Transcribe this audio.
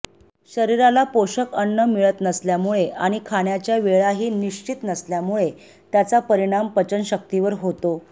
शरिराला पोषक अन्न मिळत नसल्यामुळे आणि खाण्याच्या वेळाही निश्चित नसल्याने त्याचा परिणाम पचनशक्तीवर होतो